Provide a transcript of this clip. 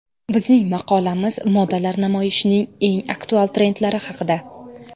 Bizning maqolamiz modalar namoyishining eng aktual trendlari haqida.